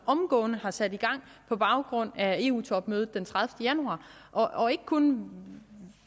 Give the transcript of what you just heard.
omgående har sat i gang på baggrund af eu topmødet den tredivete januar og ikke kun